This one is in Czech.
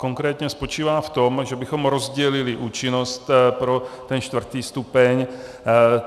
Konkrétně spočívá v tom, že bychom rozdělili účinnost pro ten čtvrtý stupeň.